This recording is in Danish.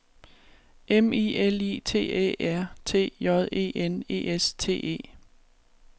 M I L I T Æ R T J E N E S T E